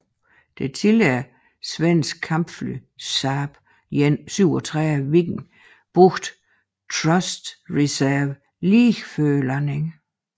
Det tidligere svenske kampfly Saab 37 Viggen brugte thrust reverser lige før landingen